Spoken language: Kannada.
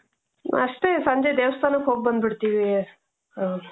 ಅಷ್ಟೆ ಸಂಜೆ ದೇವಸ್ತನಕೆ ಹೋಗಿ ಬಂದಬುಡ್ತಿವಿ.